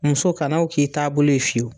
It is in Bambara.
Muso kana o k'i taabolo fiweyu.